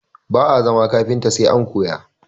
Ba'a zama kafinta sai an koya